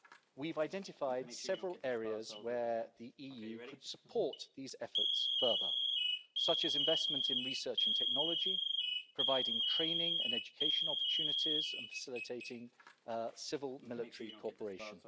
We've identified several areas where the EU could support these efforts further, such as investment in research and technology, providing training and education opportunities and facilitating civil-military cooperation.